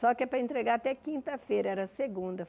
Só que é para entregar até quinta-feira, era segunda.